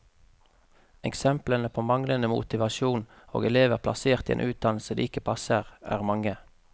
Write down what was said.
Eksemplene på manglende motivasjon og elever plassert i en utdannelse de ikke passer, er mange.